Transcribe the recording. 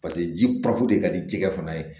Paseke ji de ka di jikɛ fana ye